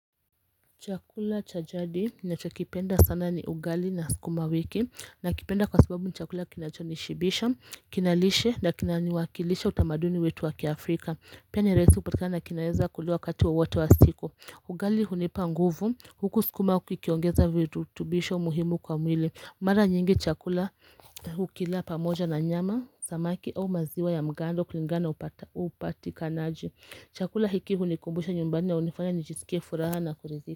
Chakula chajadi na chokipenda sana ni ugali na sikuma wiki na kipenda kwa sababu ni chakula kinachonishibisha Kinalishe na kinaniwakilisha utamaduni wetu wakiAfrika Pia ni rahisi kupatikana na kinaeza kuliwa kati wowote wa siku ugali hunipa nguvu huku skuma kukiongeza vitu tubisho muhimu kwa mwili Mara nyingi chakula hukila pamoja na nyama samaki au maziwa ya mgando kulingana na upati kanaji Chakula hiki hunikumbusha nyumbani na unifanya nijisike furaha na kurizi.